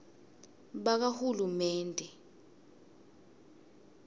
bakahulumende